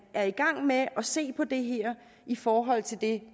er i gang med at se på det her i forhold til det